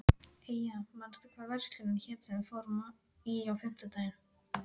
Eyja, manstu hvað verslunin hét sem við fórum í á fimmtudaginn?